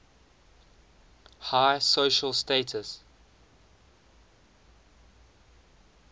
high social status